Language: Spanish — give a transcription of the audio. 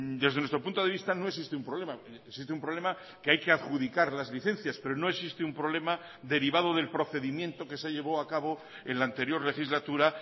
desde nuestro punto de vista no existe un problema existe un problema que hay que adjudicar las licencias pero no existe un problema derivado del procedimiento que se llevó a cabo en la anterior legislatura